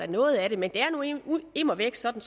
noget af det men det er nu immer immer væk sådan